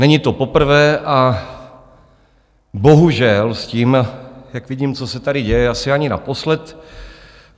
Není to poprvé a bohužel s tím, jak vidím, co se tady děje, asi ani naposled.